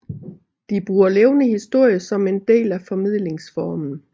De bruger levende historie som en del af formidlingsformen